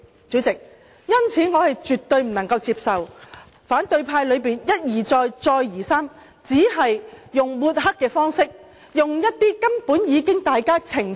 主席，因此我絕對不能接受反對派一而再，再而三用抹黑的方式說歪理，我們根本已多次澄清。